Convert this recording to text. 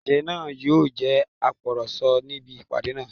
Apàṣẹ náà yóò jẹ́ agbọ̀rọ̀sọ níbi ìpàdé náà